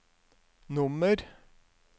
nummer